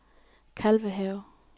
Kalvehave